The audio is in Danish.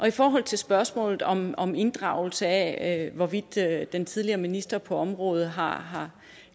i forhold til spørgsmålet om om inddragelse af hvorvidt den tidligere minister på området har har